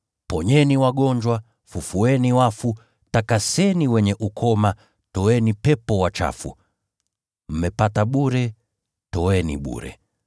Ponyeni wagonjwa, fufueni wafu, takaseni wenye ukoma, toeni pepo wachafu. Mmepata bure, toeni bure.